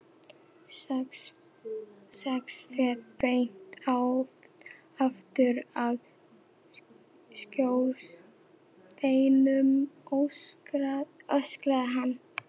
Sex fet beint aftur af skorsteininum, öskraði hann.